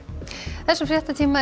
þessum fréttatíma er